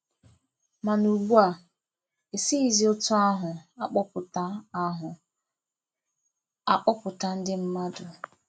Mana ugbua, e sighizi otu ahụ a kpọpụta ahụ a kpọpụta ndị mmadụ.